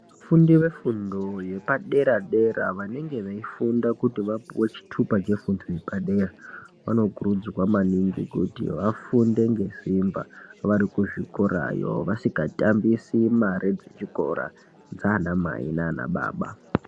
Vafundi vefundo yepadera dera vange veifunda kuti vapuwe chitupa chefundo yepadera vanokurudzirwa maningi kuti vafunde ngesimba vari kuzvikorayo vasingatambise mari dzechikora dzaana mai nana baba.